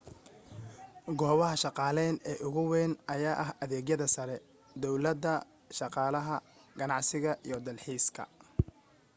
goobaha shaqaaleyn ee ugu weyn ayaa ah adeegyada sare downlada dhaqaalaha ganacsiga iyo dalxiiska